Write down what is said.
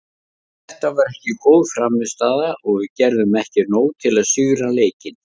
Þetta var ekki góð frammistaða og við gerðum ekki nóg til að sigra leikinn.